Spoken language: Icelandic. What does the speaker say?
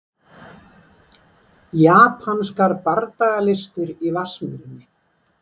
Japanskar bardagalistir í Vatnsmýrinni